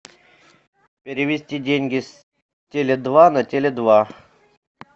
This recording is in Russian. перевести деньги с теле два на теле два